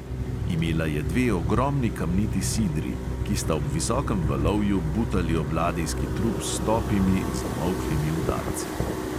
Imela je dve ogromni kamniti sidri, ki sta ob visokem valovju butali ob ladijski trup s topimi, zamolklimi udarci.